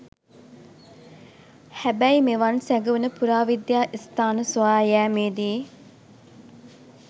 හැබැයි මෙවන් සැඟවුන පුරාවිද්‍යා ස්ථාන සොයා යාමේදී